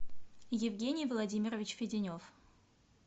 евгений владимирович феденев